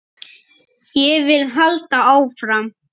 Ég vil halda áfram.